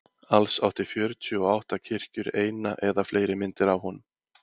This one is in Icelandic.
alls áttu fjörutíu og átta kirkjur eina eða fleiri myndir af honum